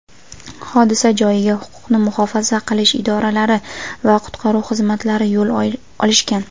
hodisa joyiga huquqni muhofaza qilish idoralari va qutqaruv xizmatlari yo‘l olishgan.